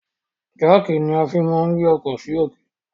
Jáàkì ni a fi máa ń gbé ọkọ sì òkè.